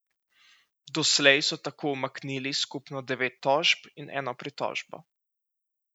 Doslej so tako umaknili skupno devet tožb in eno pritožbo.